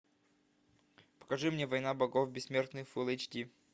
покажи мне война богов бессмертный фулл эйч ди